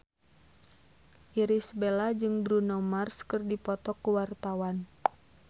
Irish Bella jeung Bruno Mars keur dipoto ku wartawan